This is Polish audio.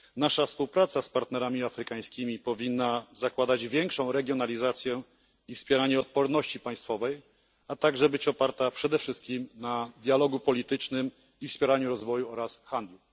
Nasza współpraca z partnerami afrykańskimi powinna zakładać większą regionalizację i wspieranie odporności państwowej, a także być oparta przede wszystkim na dialogu politycznym i wspieraniu rozwoju oraz handlu.